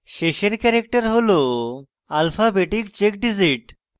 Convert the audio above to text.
শেষের ক্যারেক্টার হল alphabetic check digit